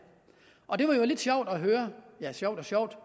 og det var jo lidt sjovt at høre ja sjovt og sjovt